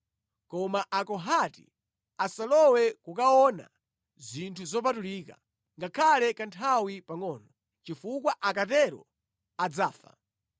Koma Akohati asalowe kukaona zinthu zopatulika, ngakhale kanthawi pangʼono, chifukwa akatero adzafa.”